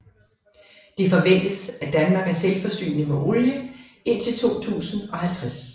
Det forventes at Danmark er selvforsynende med olie indtil 2050